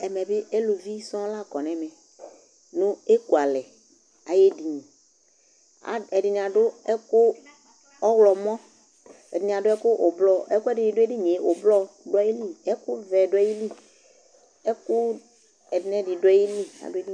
Ɛmɛ bɩ eluvi sɔŋ la kɔ nʋ ɛmɛ nʋ ekualɛ ayʋ edini Ad ɛdɩnɩ adʋ ɛkʋ ɔɣlɔmɔ, ɛdɩnɩ adʋ ɛkʋ ʋblɔ Ɛkʋɛdɩnɩ dʋ edini yɛ ʋblɔ dʋ ayili, ɛkʋvɛ dʋ ayili, ɛkʋ ɛdɩ nʋ ɛdɩ dʋ ayili adʋ edi